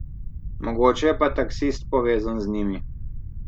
Mogoče je pa taksist povezan z njimi.